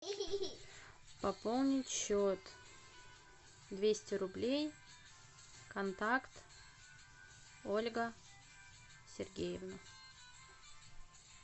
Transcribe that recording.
пополнить счет двести рублей контакт ольга сергеевна